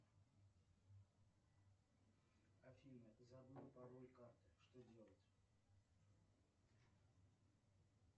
афина забыл пароль карты что делать